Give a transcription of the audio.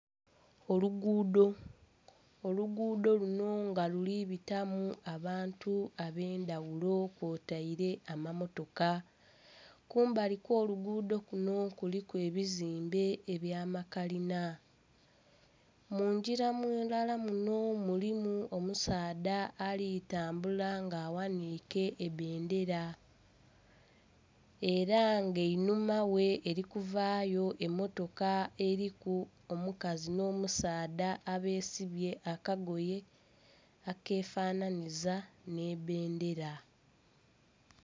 Oluguudo! Oluguudo luno nga lulibitamu abantu abendaghulo kwotaire amamotoka. Kumbali kwo luguudo kuno kuliku ebizimbe ebya makalina. Munjira ndala muno mulimu omusaadha alitambula nga aghanike ebendela era nga einhuma ghe eri kuvayo emotoka eriku omukazi no musaadha abeesibye akagoye akefananiza nhe bendera